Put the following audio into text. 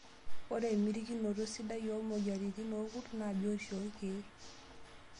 Ore emitikinoto sidai oo moyiaritinoorkurt naa biotisho toorkiek.